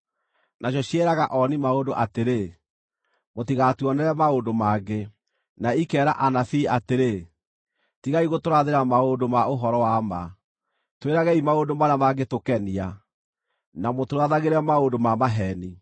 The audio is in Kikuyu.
Nacio ciĩraga ooni-maũndũ atĩrĩ, “Mũtigatuonere maũndũ mangĩ!” na ikeera anabii atĩrĩ, “Tigai gũtũrathĩra maũndũ ma ũhoro wa ma! Twĩragei maũndũ marĩa mangĩtũkenia, na mũtũrathagĩre maũndũ ma maheeni.